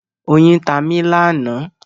Oyin tá mí lánàá.